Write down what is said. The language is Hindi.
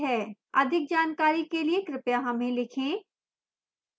अधिक जानकारी के लिए कृपया हमें लिखें